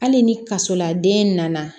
Hali ni kasoladen nana